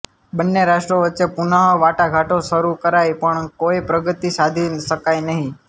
બન્ને રાષ્ટ્રો વચ્ચે પુનઃ વાટાઘાટો શરૂ કરાઇ પણ કોઇ પ્રગતિ સાધી શકાઇ નહીં